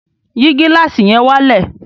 Yìí gílàsì yẹn wálẹ̀!